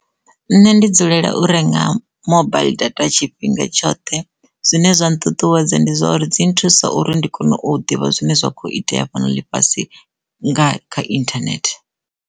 Nṋe ndi dzulela u renga mobaiḽi data tshifhinga tshoṱhe zwine zwa nṱuṱuwedza ndi zwa uri dzi nthusa uri ndi kone u ḓivha zwine zwa kho itea faneli fhasini nga kha internet.